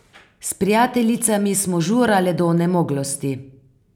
S prijateljicami smo žurale do onemoglosti.